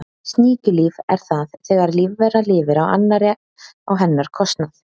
Sníkjulíf er það þegar lífvera lifir á annarri á hennar kostnað.